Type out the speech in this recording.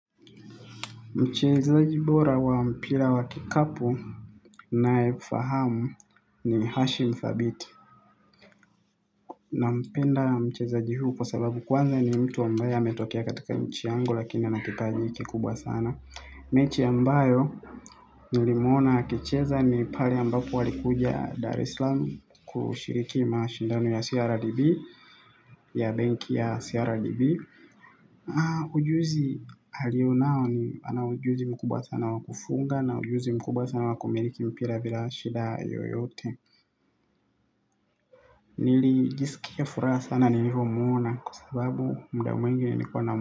Mcheza jibora wa mpira wa kikapu na fahamu ni hashi mfabiti. Na mpenda mcheza jihu kwa sababu kwanza ni mtu ambaye a metokia katika nchi yangu lakini anakipaji kikubwa sana. Mechi ambayo ni limuona akicheza ni pale ambapo alikuja Darislam kushiriki mashindano ya CRDB ya bank ya CRDB. Ujuzi halio nao ana ujuzi mkubwa sana wakufunga na ujuzi mkubwa sana wakumiliki mpira bila shida yoyote nili jisikia furaha sana ni livomuona kwasababu mda mwingi niko na.